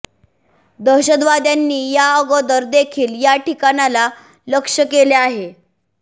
दहशतवाद्यांनी या अगोदर देखील या ठिकाणाला लक्ष्य केले आहे